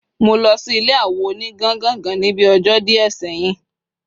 mo losi ile awo oni gangangan ni bi ojo die seyin